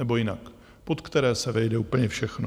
Nebo jinak - pod které se vejde úplně všechno.